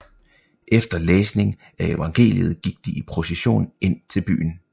Efter læsning af evangeliet gik de i procession ind til byen